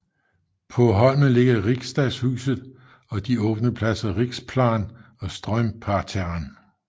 På holmen ligger Riksdagshuset og de åbne pladser Riksplan og Strömparterren